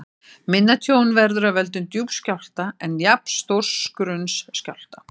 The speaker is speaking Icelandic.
Minna tjón verður af völdum djúps skjálfta en jafnstórs grunns skjálfta.